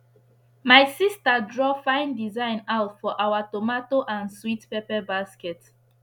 my sista draw fine design out for our tomato and sweet pepper basket